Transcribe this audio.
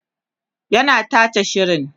yana tace shirin